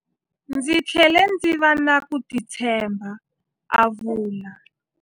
Ndzi tlhele ndzi va na ku titshemba, a vula.